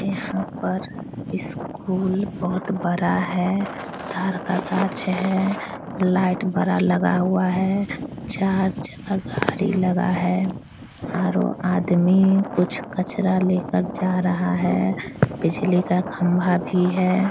इस सब पर स्कूल बहुत बड़ा है तार का पेड़ हैं लाइट बड़ा लगा हुआ है चार चक्का गाड़ी लगा है और ओ आदमी कुछ कचरा लेकर जा रहा है बिजली का खंबा भी है।